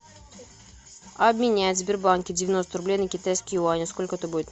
обменять в сбербанке девяносто рублей на китайские юани сколько это будет